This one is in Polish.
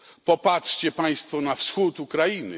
Popatrzcie Państwo na wschód Ukrainy.